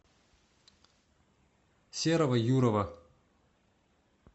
серого юрова